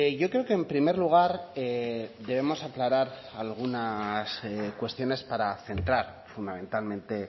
yo creo que en primer lugar debemos aclarar algunas cuestiones para centrar fundamentalmente